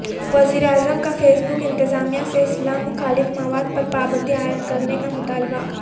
وزیراعظم کا Facebook انتظامیہ سے اسلام مخالف مواد پر پابندی عائد کرنے کا مطالبہ